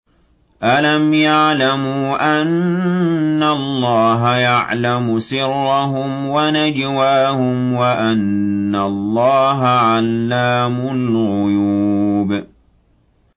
أَلَمْ يَعْلَمُوا أَنَّ اللَّهَ يَعْلَمُ سِرَّهُمْ وَنَجْوَاهُمْ وَأَنَّ اللَّهَ عَلَّامُ الْغُيُوبِ